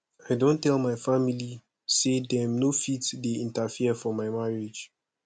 i don tell my family sey dem no fit dey interfere for my marriage